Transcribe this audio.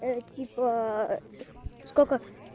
типа сколько